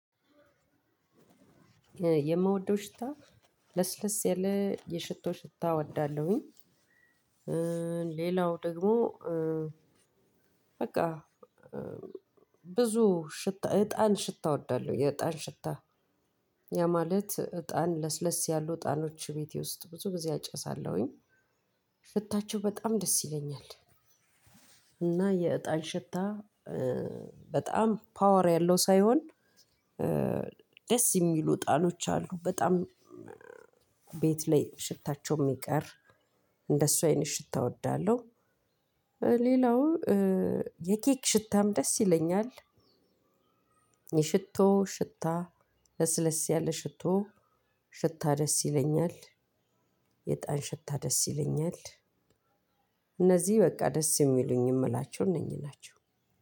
የምወደው ሽታ ለስለስ ያለ የሽቶ ሽታ እወዳለሁኝ። ሌላው ደግሞ በቃ ብዙ ሽታ እጣን ሽታ እወዳለሁ። የእጣን ሽታ ያ ማለት እጣን ለስለስ ያሉ እጣኖች ቤቴ ውስጥ ብዙ ጊዜ አጨሳለሁኝ። ሽታቸው በጣም ደስ ይለኛል። እና የእጣን ሽታ በጣም ፓወር ያለው ሳይሆን ደስ የሚሉ እጣሎች አሉ። በጣም ቤት ላይ ሽታቸው የሚቀር፣ እንደሱ አይነት ሽታ እወዳለሁ። ሌላው የኬክ ሽታም ደስ ይለኛል። የሽቶ ሽታ ለስለስ ያለ ሽቶ ሽታ ደስ ይለኛል። የእጣን ሽታ ደስ ይለኛል። እነዚህ በቃ ደስ የሚሉኝ የምላቸውን እነኝህ ናቸው።